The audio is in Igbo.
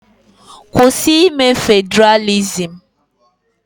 Kwụsị ime Federalism.